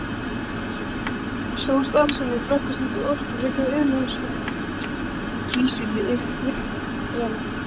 Sú starfsemi flokkast undir orkufrekan iðnað eins og Kísiliðjan.